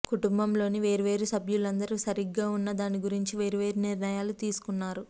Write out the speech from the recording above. కుటుంబంలోని వేర్వేరు సభ్యులందరూ సరిగ్గా ఉన్న దాని గురించి వేర్వేరు నిర్ణయాలు తీసుకున్నారు